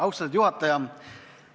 Austatud juhataja!